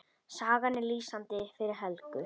Sagan er lýsandi fyrir Helgu.